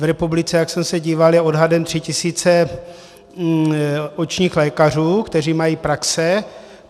V republice, jak jsem se díval, je odhadem 3 tisíce očních lékařů, kteří mají praxe.